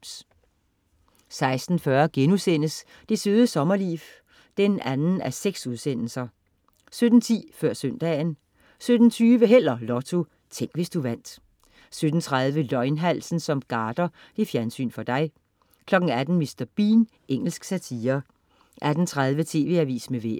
16.40 Det Søde Sommerliv 2:6* 17.10 Før søndagen 17.20 Held og Lotto. Tænk, hvis du vandt 17.30 Løgnhalsen som garder. Fjernsyn for dig 18.00 Mr. Bean. Engelsk satire 18.30 TV Avisen med Vejret